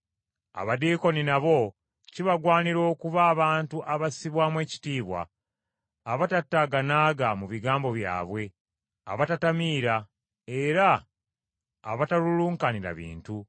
Abadiikoni nabo kibagwanira okuba abantu abassibwamu ekitiibwa abatataaganaaga mu bigambo byabwe, abatatamiira, era abatalulunkanira bintu,